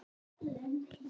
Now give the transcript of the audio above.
Ég þáði það.